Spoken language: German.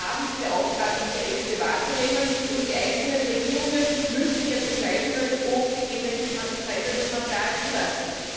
Wir haben die Aufgabe, diese Ängste wahrzunehmen, und die einzelnen Regierungen müssen jetzt entscheiden können, ob sie gentechnisch verändertes Material zulassen.